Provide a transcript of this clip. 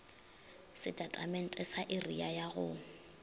setatamente sa area ya go